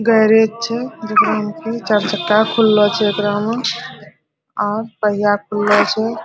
Garage छे जेकरा में की चार चक्का खुल्लो छे एकरा में और पहिया खुल्लो छे।